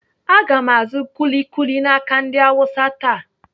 Aga m azụ kuli kuli n'aka ndị Awụsa taa.